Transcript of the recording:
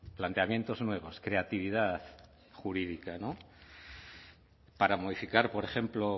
planteamientos nuevos creatividad jurídica para modificar por ejemplo